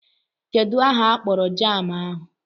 Kedụ aha akpọrọ jaamụ ahụ?